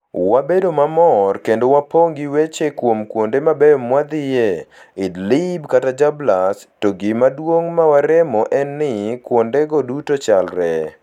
Wabedo mamor kendo wapong' gi weche kuom kuonde mabeyo mwadhiye, Idlib kata Jarablus... to gima duong' ma waremo en ni: kuondego duto chalre!